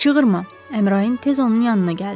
Çığırma, Əmrain tez onun yanına gəldi.